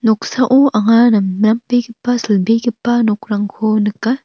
noksao anga namnambegipa silbegipa nokrangko nika.